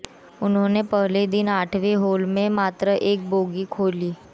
उन्होंने पहले दिन आठवें होल में मात्र एक बोगी खेली